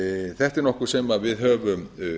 þetta er nokkuð sem við höfum